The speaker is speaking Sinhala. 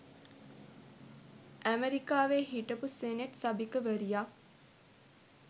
අමෙරිකාවේ හිටපු සෙනෙට් සභික වරියක්